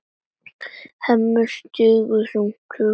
Hemmi situr enn þungt hugsi.